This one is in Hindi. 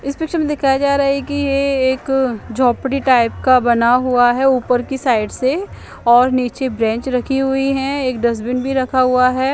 इस पिक्चर में दिखाया जा रहा है की ई एक झोपड़ी टाइप का बना हुआ है ऊपर की साइड से और निचे ब्रेंच रखी हुआ है निचे डस्टबिन भी रखा हुआ है।